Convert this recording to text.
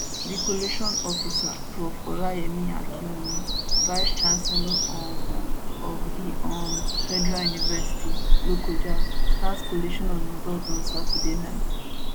di collation officer prof olayemi akinwunmi vicechancellor um of the um federal university lokoja start collation of results on saturday night